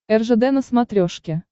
ржд на смотрешке